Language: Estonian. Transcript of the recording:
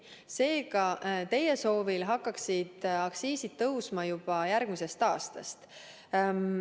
Seega, teie soovil hakkaksid aktsiisid tõusma juba järgmisest aastast.